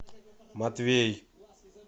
матвей